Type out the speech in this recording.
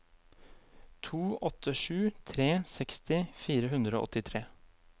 to åtte sju tre seksti fire hundre og åttitre